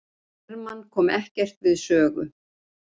Hermann kom ekkert við sögu